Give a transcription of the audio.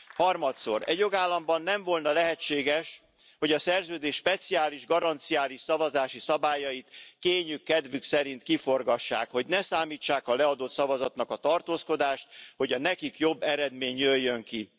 Harmadszor Egy jogállamban nem volna lehetséges, hogy a Szerződés speciális, garanciális szavazási szabályait kényük kedvük szerint kiforgassák, hogy ne számítsák a leadott szavazatnak a tartózkodást, hogy a nekik jobb eredmény jöjjön ki.